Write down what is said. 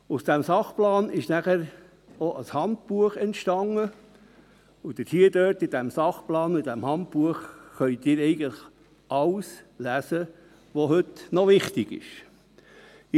Aus diesem Sachplan entstand danach ein Handbuch, und dort – im Sachplan und im Handbuch – können Sie eigentlich alles lesen, was heute noch wichtig ist.